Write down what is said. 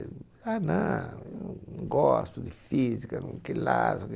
Ah, não, eu não gosto de física, não